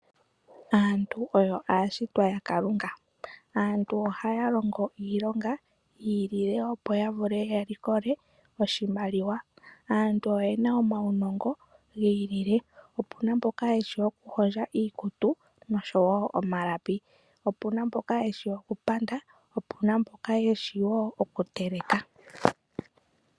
Aantu oyo aashitwa ya Kalunga, aantu ohaya longo iilonga yiilile opo ya vule ya likole oshimaliwa, aantu oye na omaunongo giilile opu na mboka yeshi okuhondja iikutu noshowo omalapi, opu na mboka yeshi okupanda, opu na mboka yeshi woo okuteleka.